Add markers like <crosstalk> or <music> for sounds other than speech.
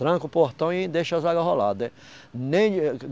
Tranca o portão e deixa as águas rolar. <unintelligible>